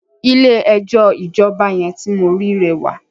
Ilé ẹjọ́ ìjọba yẹn ti mo ri rẹwà.